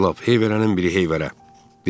Əclaf, heyvərənin biri heyvərə.